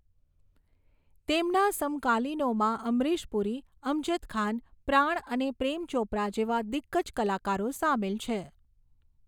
તેમના સમકાલીનોમાં અમરીશ પુરી, અમજદ ખાન, પ્રાણ અને પ્રેમ ચોપરા જેવા દિગ્ગજ કલાકારો સામેલ છે.